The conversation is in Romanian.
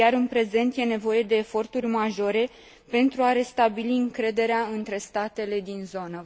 Iar, în prezent, e nevoie de eforturi majore pentru a restabili încrederea între statele din zonă.